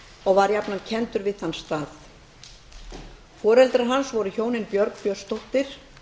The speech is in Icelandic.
og var jafnan kenndur við þann stað foreldrar hans voru hjónin björg björnsdóttir